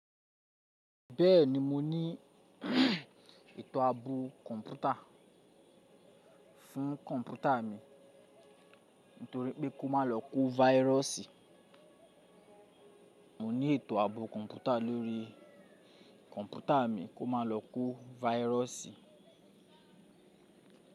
Bẹ́ẹ̀ni mo ní ètò ààbò kọ̀ǹpútà fún kọ̀ǹpútà mi torí pé kó má lọ kó váírọ̀sì. Mo ní ètò ààbò kọ̀ǹpútà lórí kọ̀ǹpútà mi kó má lọ kó váírọ̀sì.